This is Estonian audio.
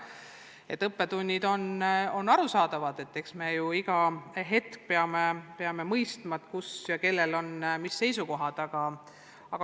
Saadud õppetunnid on arusaadavad, me ju iga hetk peame mõistma, kellel mis seisukohad on.